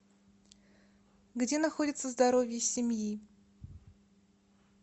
где находится здоровье семьи